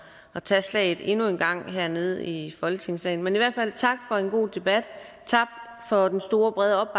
at tage slaget endnu en gang hernede i folketingssalen men i hvert fald tak for en god debat tak for den store brede